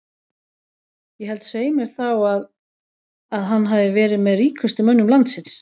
Ég held svei mér þá að að hann hafi verið með ríkustu mönnum landsins.